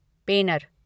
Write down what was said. पेनर